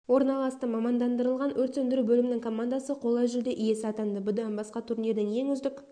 орналасты мамандандырылған өрт сөндіру бөлімінің командасы қола жүлде иесі атанды бұдан басқа турнирдің ең үздік